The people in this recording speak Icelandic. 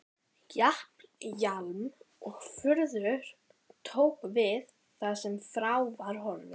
Japl-jaml-og-fuður tóku við þar sem frá var horfið.